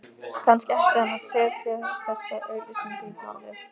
Kannski ætti hann að setja þessa auglýsingu í blaðið